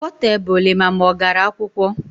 Potebụl ịma ma ọ gara akwụkwọ